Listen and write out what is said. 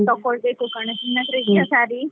ತಕ್ಕೊಳ್ಬೇಕು ಕಣೇ, ನಿನ್ನತ್ರ ಇದೆಯಾ saree ?